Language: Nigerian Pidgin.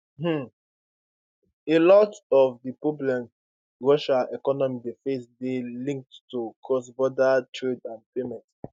um a lot of di problems russia economy dey face dey linked to crossborder trade and payments